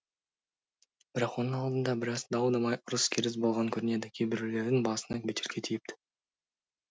бірақ оның алдында біраз дау дамай ұрыс керіс болған көрінеді кейбіреулердің басына бөтелке тиіпті